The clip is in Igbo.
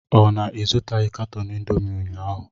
Ọ na ịzụtaghị katọn indomi ụnyaahụ?